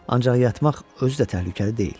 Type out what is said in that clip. Ancaq yatmaq özü də təhlükəli deyil.